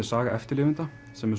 Saga eftirlifenda